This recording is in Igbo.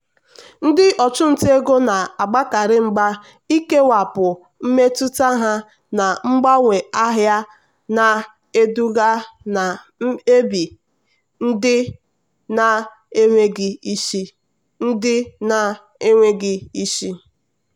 ndị ọchụnta ego na-agbakarị mgba ikewapụ mmetụta ha na mgbanwe ahịa na-eduga na mkpebi ndị na-enweghị isi. ndị na-enweghị isi.